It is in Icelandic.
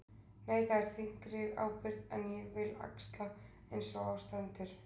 Nei, það er þyngri ábyrgð en ég vil axla eins og á stendur.